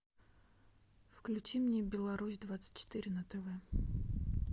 включи мне беларусь двадцать четыре на тв